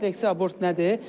Selektiv abort nədir?